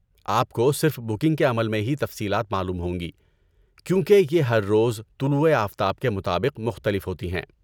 آپ کو صرف بکنگ کے عمل میں ہی تفصیلات معلوم ہوں گی، کیونکہ یہ ہر روز طلوع آفتاب کے مطابق مختلف ہوتی ہیں۔